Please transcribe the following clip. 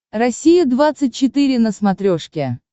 россия двадцать четыре на смотрешке